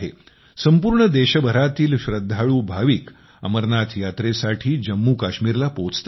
संपूर्ण देशभरातील श्रद्धाळू भाविक अमरनाथ यात्रेसाठी जम्मूकाश्मीरला पोहोचतात